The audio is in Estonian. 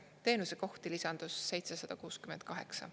Teenusekohti lisandus 768.